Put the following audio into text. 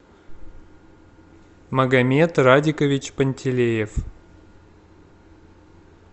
магомед радикович пантелеев